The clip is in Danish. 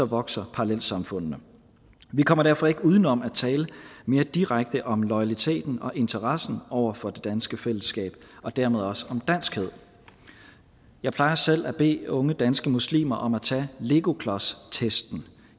vokser parallelsamfundene vi kommer derfor ikke uden om at tale mere direkte om loyaliteten og interessen over for det danske fællesskab og dermed også om danskhed jeg plejer selv at bede unge danske muslimer om at tage legoklodstesten